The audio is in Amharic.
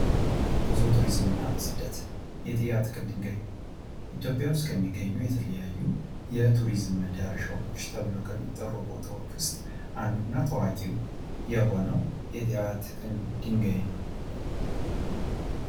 ጉዞ ቱሪዝም እና ስደት የጥያ ትክል ድንጋይ ኢትዮጵያ ውስጥ የሚገኙ የተለያዩ የቱሪዝም መዳረሻዎች ተብለው ከሚጠሩ ቦታዎች ውስጥ አንዱ እና ታዋቂ የሆነው የጥያ ትክል ድንጋይ ነው።